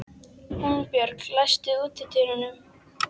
Húnbjörg, læstu útidyrunum.